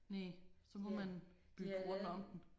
Næh så må man bygge rundt om den